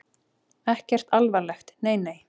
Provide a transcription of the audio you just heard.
Ekkert alvarlegt, nei nei.